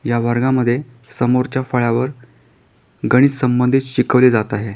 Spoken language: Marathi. या वर्गामध्ये समोरच्या फळ्यावर गणित संबंधीत शिकवले जात आहे.